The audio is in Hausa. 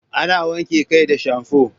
Ana wanke kai da shamfo